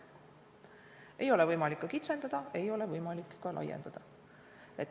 Seda ei ole võimalik kitsendada, ei ole võimalik ka laiendada.